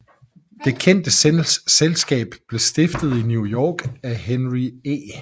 Det kendte selskab blev stiftet i New York af Henry E